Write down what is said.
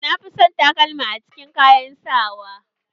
Na fi son takalma a cikin kayan sawa